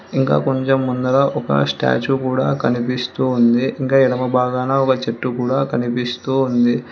ఇంకా కొంచెం ముందర ఒక స్టాచు కూడా కనిపిస్తూ ఉంది ఇంకా ఎడమ భాగాన ఒక చెట్టు కూడా కనిపిస్తూ ఉంది.